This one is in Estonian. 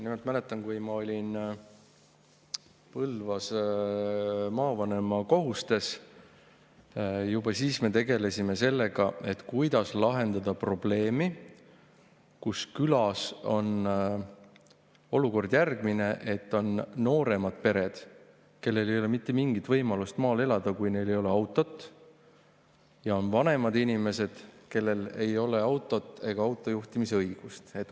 Nimelt ma mäletan, et kui ma olin Põlvas maavanema kohustes, juba siis me tegelesime sellega, kuidas lahendada probleemi, kui külas on olukord järgmine: on nooremad pered, kellel ei ole mitte mingit võimalust maal elada, kui neil ei ole autot, ja on vanemad inimesed, kellel ei ole ei autot ega autojuhtimisõigust.